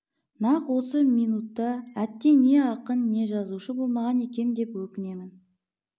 нақ осы минутта әттең не ақын не жазушы болмаған екем деп өкінемін